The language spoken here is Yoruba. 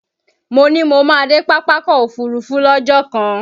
Mo ní mo máa dé Pápákọ̀ Òfurufú lọ́jọ́ kan